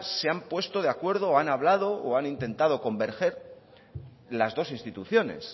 se han puesto de acuerdo o han hablado o han intentando convergen las dos instituciones